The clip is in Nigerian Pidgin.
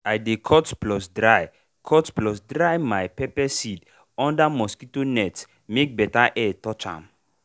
i dey cut plus dry cut plus dry my pepper seed for under mosquito net make better air touch ahm.